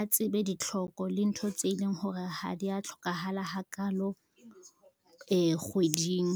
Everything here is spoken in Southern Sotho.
a tsebe ditlhoko le ntho tse leng hore ha di a tlhokahala ha kalo kgweding.